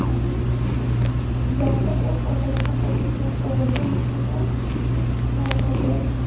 Jizzaxda o‘z otasini o‘ldirgan o‘g‘ilga nisbatan sud hukmi o‘qildi.